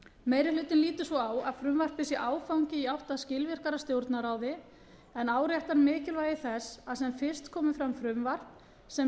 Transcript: meiri hlutinn lítur svo á að frumvarpið sé áfangi í átt að skilvirkara stjórnarráði en áréttar mikilvægi þess að sem fyrst komi fram frumvarp sem